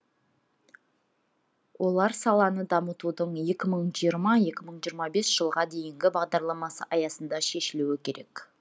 олар саланы дамытудың екі мың жырма екі мың жиырма бесінші жылға дейінгі бағдарламасы аясында шешілуі керек